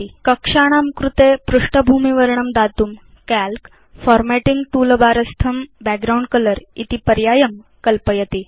कक्षाणां कृते पृष्ठभूमिवर्णं दातुं काल्क Formatting टूलबार स्थं बैकग्राउण्ड कलर इति पर्यायं कल्पयति